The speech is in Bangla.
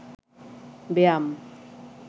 ব্যায়াম